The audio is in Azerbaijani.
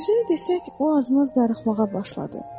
Düzünü desək, o az-maz darıxmağa başladı.